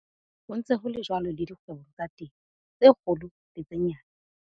Ho ntse ho le jwalo le dikgwebong tsa temo, tse kgolo le tse nyane.